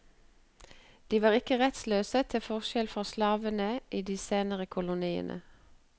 De var ikke rettsløse, til forskjell fra slavene i de senere koloniene.